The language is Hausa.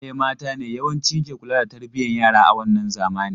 Iyaye mata ne yawanci ke kula da tarbiyan yara a wannan zamani.